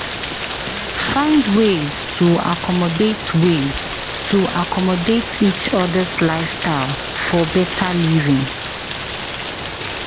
Find ways to accommodate ways to accommodate each other’s lifestyle for better living.